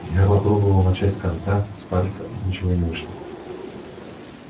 я попробовал начать с конца с пальца и ничего не вышло